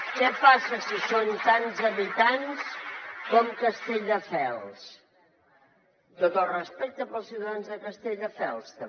què passa si són tants habitants com castelldefels tot el respecte per als ciutadans de castelldefels també